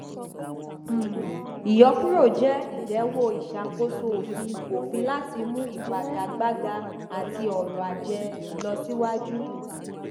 um ìyọkúrò jẹ ìdẹwọ ìṣàkóso òfin òfin láti mú ìfagagbága àti ọrọ ajé lọ siwájú